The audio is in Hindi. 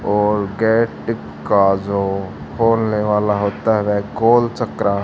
और गेट का जो खोलने वाला होता है वह गोलचक्रा--